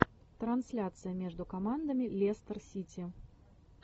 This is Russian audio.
трансляция между командами лестер сити